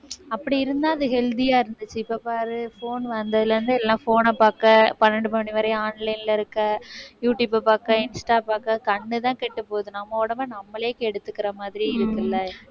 அப்படி இருந்தா அது healthy ஆ இருந்துச்சு இப்ப பாரு phone வந்ததுல இருந்து எல்லாம் phone ன பாக்க பன்னெண்டு மணி வரையும் online ல இருக்க, யூடுயூபை பாக்க, இன்ஸ்டா பாக்க கண்ணுதான் கெட்டு போகுது நம்ம உடம்பை நம்மளே கெடுத்துக்கிற மாதிரி இருக்குல்ல.